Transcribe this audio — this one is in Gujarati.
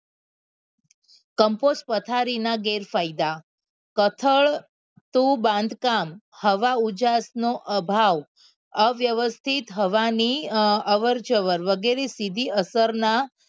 કમ્પોસ્ટ પથારીના ગેરફાયદા સથળ તો બાંધકામ હવા ઉજાસ નો અભાવ અવ્યવસ્થિત થવાની અવરજવર વગેરે સીધી અસરના